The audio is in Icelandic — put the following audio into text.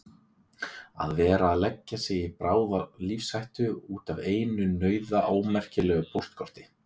Að vera að leggja sig í bráða lífshættu út af einu nauðaómerkilegu póstkorti!